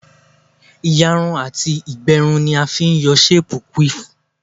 Ìyarun àti ìgbẹrun ni a fi ń yọ séèpù quiff